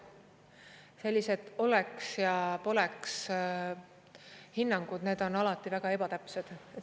Sellised oleks- ja poleks-hinnangud on alati väga ebatäpsed.